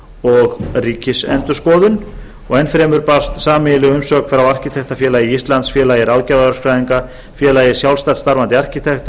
og ríkisendurskoðun enn fremur barst sameiginleg umsögn frá arkitektafélagi íslands félagi ráðgjafarverkfræðinga félagi sjálfstætt starfandi arkitekta